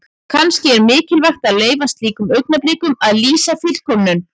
Kannski er mikilvægt að leyfa slíkum augnablikum að lýsa fullkomnun.